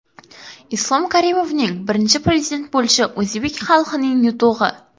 Islom Karimovning Birinchi Prezident bo‘lishi o‘zbek xalqining yutug‘i.